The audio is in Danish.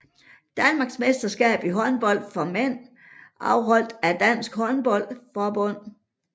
Danmarksmesterskab i håndbold for mænd afholdt af Dansk Håndbold Forbund